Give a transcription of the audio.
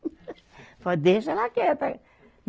Falei, deixa ela quieta.